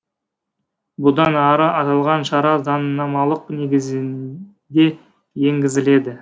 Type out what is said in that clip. бұдан ары аталған шара заңнамалық негізінде енгізіледі